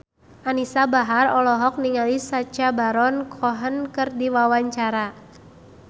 Anisa Bahar olohok ningali Sacha Baron Cohen keur diwawancara